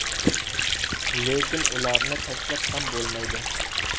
Lekin ularni tashlab ham bo‘lmaydi.